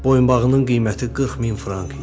Boyunbağının qiyməti 40 min frank idi.